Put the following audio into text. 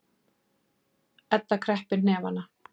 Edda kreppir hnefana.